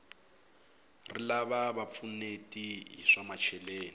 rilava va pfuneti hi swa macheleni